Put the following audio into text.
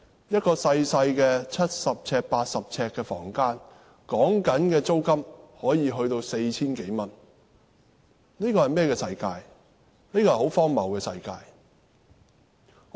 一個細小的七八十平方呎的房間，租金可以高達 4,000 多元，這是一個很荒謬的世界。